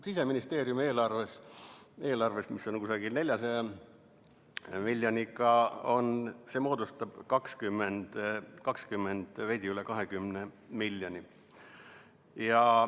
Siseministeeriumi eelarves, mis on umbes 400 miljonit, on seda veidi üle 20 miljoni.